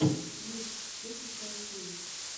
микс кекистан кинг